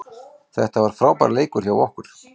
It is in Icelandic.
Þetta var frábær leikur hjá okkur